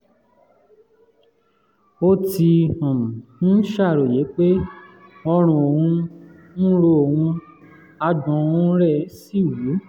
ó ti um ń ṣàròyé pé ọrùn òun ń ro òun àgbọ̀n um rẹ̀ um sì wú